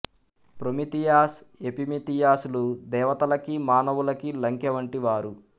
Prometheus Epimetheus లు దేవతలకి మానవులకి లంకె వంటి వారు